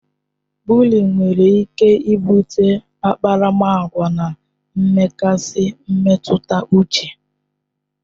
Bụlịịn nwere ike bute akparamagwa na mgbakasị mmetụta uche